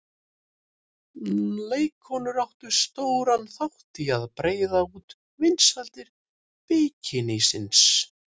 Leikkonur áttu stóran þátt í að breiða út vinsældir bikinísins.